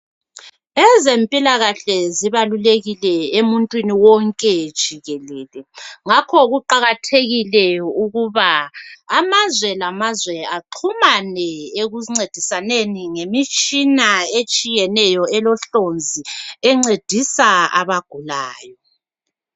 Ezempilakahle zibalulekile emuntwini wonke jikelele ngakho kuqakathekile ukuba amazwe ngamazwe axumane ekuncedisaneni ngemitshina etshiyeneyo elohlonzi encedisa abagulayo.